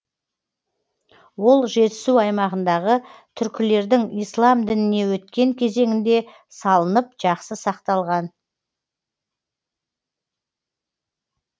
ол жетісу аймағындағы түркілердің ислам дініне өткен кезеңінде салынып жақсы сақталған